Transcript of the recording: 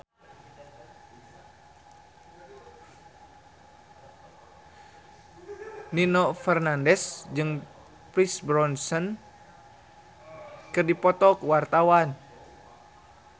Nino Fernandez jeung Pierce Brosnan keur dipoto ku wartawan